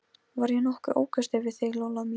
Var ég nokkuð ókurteis við þig, Lolla mín?